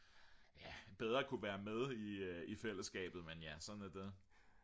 ja bedre kunne være med i fællesskabet men ja sådan er det